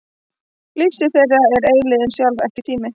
Lífssvið þeirra er eilífðin sjálf, ekki tíminn.